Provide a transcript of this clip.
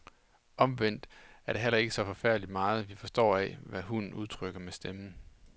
Omvendt er det heller ikke så forfærdelig meget, vi forstår af, hvad hunden udtrykker med stemmen.